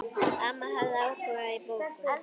Amma hafði áhuga á bókum.